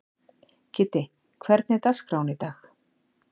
Kiddi, hvernig er dagskráin í dag?